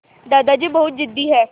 दादाजी बहुत ज़िद्दी हैं